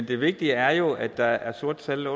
det vigtige er jo at der er sorte tal